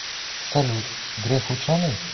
салют греф ученый